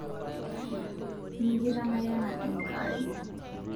mikitamayiana Enkai